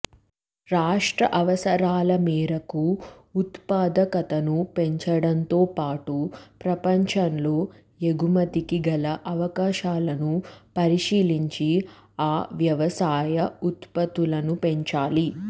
రాష్ట్ర అవసరాల మేరకు ఉత్పాదకతను పెంచడంతో పాటు ప్రపంచంలో ఎగుమతికి గల అవకాశాలను పరిశీలించి ఆ వ్యవసాయ ఉత్పత్తులను పెంచాలి